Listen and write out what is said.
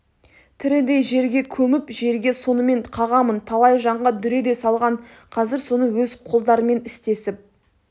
тірідей жерге көміп жерге сонымен қағамын талай жанға дүре де салған қазір соны өз қолдарымен істесіп